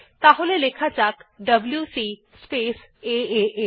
তাহলে লেখা যাক ডব্লিউসি স্পেস এএ